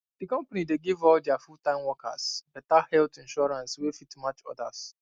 di company dey give all dia fulltime workers better health insurance wey fit match others